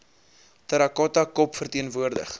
terracotta kop verteenwoordig